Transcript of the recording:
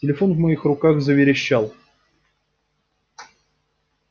телефон в моих руках заверещал